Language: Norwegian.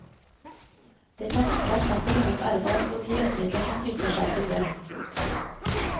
Det kan ikke erstatte lønnet arbeid og de rettigheter som knytter seg til det.